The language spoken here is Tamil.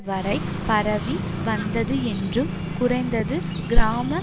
வரை பரவி வந்தது என்றும் குறைந்தது கிராம